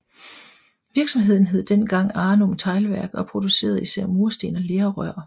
Virksomheden hed dengang Arnum Teglværk og producerede især mursten og lerrør